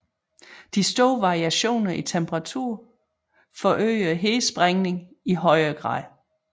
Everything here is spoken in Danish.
De store variationer i temperatur forøger hedesprængninger i uhyre grad